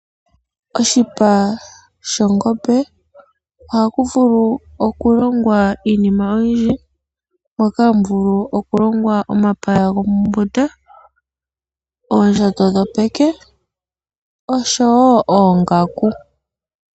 Oshipa shongombe ohaku vulu okulongwa iinima oyindji, moka haku vulu okulongwa omapaya gomombunda, oondjato dhopeke osho wo oongaaku.